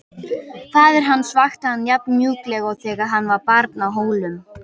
Faðir hans vakti hann jafn mjúklega og þegar hann var barn á Hólum.